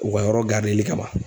U ka yɔrɔ garideli kama.